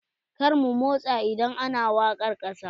Kar mu motsa idan ana wakar ƙasa.